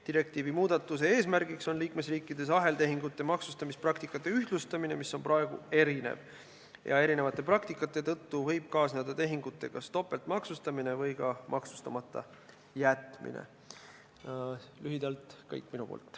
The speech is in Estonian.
Direktiivi muudatuse eesmärk on liikmesriikides aheltehingute maksustamispraktikate ühtlustamine, mis on praegu erinev ja seetõttu võib kaasneda tehingute topeltmaksustamine või maksustamata jätmine.